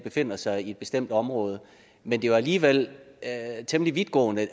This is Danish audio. befinder sig i et bestemt område men det er jo alligevel temmelig vidtgående